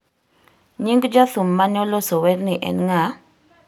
Nying jathum ma ne oloso werni en ng'a?